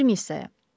Ver missesəyə.